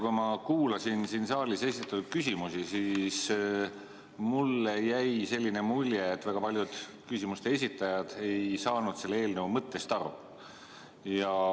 Kui ma kuulasin siin saalis esitatud küsimusi, siis mulle jäi selline mulje, et väga paljud küsimuste esitajad ei saanud selle eelnõu mõttest aru.